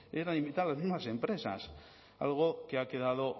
eran invitadas las mismas empresas algo que ha quedado